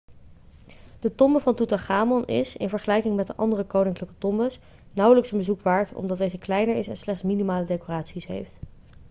de tombe van toetanchamon is in vergelijking met de andere koninklijke tombes nauwelijks een bezoek waard omdat deze kleiner is en slechts minimale decoraties heeft